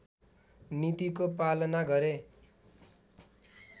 नीतिको पलना गरे